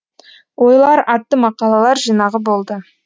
ойлар атты мақалалар жинағы болды